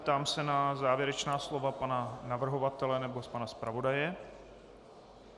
Ptám se na závěrečná slova pana navrhovatele nebo pana zpravodaje.